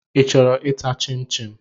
Ị chọrọ ịta chịm chịm?